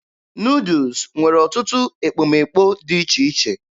Nuudus nwere ọtụtụ ekpomekpo dị iche iche.